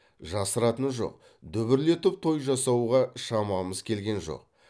жасыратыны жоқ дүбірлетіп той жасауға шамамыз келген жоқ